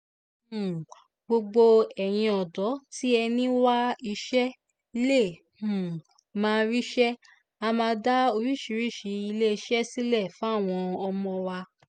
um gbogbo ẹ̀yin ọ̀dọ́ tí ẹ̀ ń wá iṣẹ́ lè um máa ríṣẹ́ á máa dá oríṣiríṣiì iléeṣẹ́ sílẹ̀ fáwọn ọmọ wa